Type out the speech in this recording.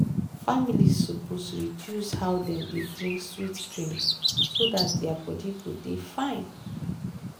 families suppose reduce how dem dey drink sweet drink so dat their body go dey fine.